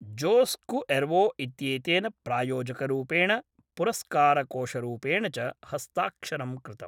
जोस् कुएर्वो इत्येतेन प्रायोजकरूपेण पुरस्कारकोषरूपेण च हस्ताक्षरं कृतम्।